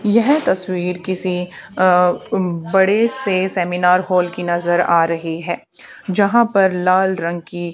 यह तस्वीर किसी अ बड़े से सेमिनार हॉल की नजर आ रही है जहां पर लाल रंग की--